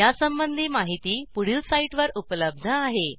यासंबंधी माहिती पुढील साईटवर उपलब्ध आहे